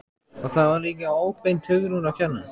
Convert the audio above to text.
Og það var líka óbeint Hugrúnu að kenna.